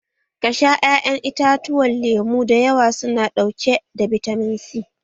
Ka sha ƴaƴan itatuwa lemu da yawa su na ɗauke da bitamin C